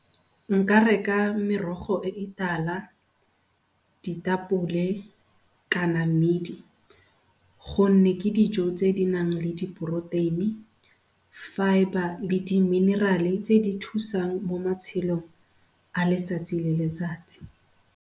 Nka reka merogo e e tala, ditapole, ka na mmidi go nne ke dijo tse di nang le diporoteini, fibre, le di-mineral-e tse di thusang mo matshelong a letsatsi le letsatsi.